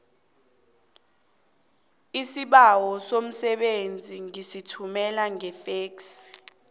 isibawo somsebenzi ngisithumele ngefexi